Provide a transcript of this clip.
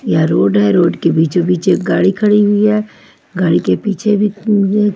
यह रोड है रोड के बीचों बीच एक गाडी खड़ी हुई है गाड़ी के पीछे भी अ--